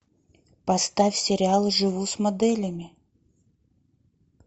поставь сериал живу с моделями